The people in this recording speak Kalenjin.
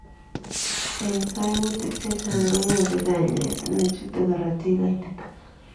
Eng kaimutik chechang konyoruu kanyaet nechutee korotik koititaa